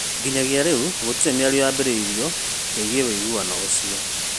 Nginyagia rĩu gũtirĩ mĩario yambĩrĩirio ĩĩgiĩ ũiguanĩro ũcio